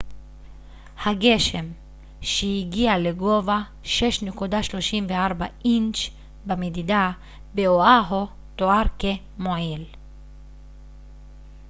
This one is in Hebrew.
הגשם שהגיע לגובה 6.34 אינץ' במדידה באואהו תואר כ מועיל